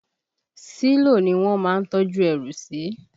Sílò ni wọ́n má ń tọ́jú ẹrù sí